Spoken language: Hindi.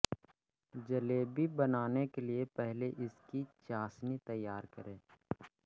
जलेबी बनाने के लिये पहले इसकी चाशनी तैयार करें